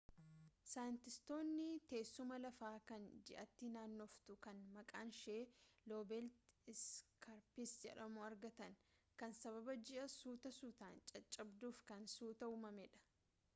saayintiistootni teessumaa lafa kan ji'aatti naannoftuu kan maqaanshee loobeet iskaarpis jedhamu argatan kan sababa ji'i suuta suutaan caccabduuf kan suuta uumamee dha